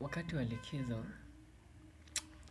Wakati wa likizo,